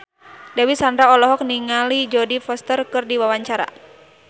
Dewi Sandra olohok ningali Jodie Foster keur diwawancara